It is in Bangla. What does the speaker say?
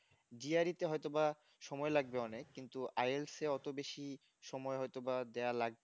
GRE তে হয়তোবা সময় লাগবে অনেক কিন্তু আই ILS এ হয়তো বেশি সময় হয়তোবা দেওয়া লাগবে না